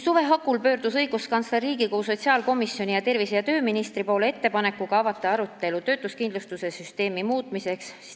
Suve hakul pöördus õiguskantsler Riigikogu sotsiaalkomisjoni ning tervise- ja tööministri poole ettepanekuga avada arutelu töötuskindlustuse süsteemi muutmiseks.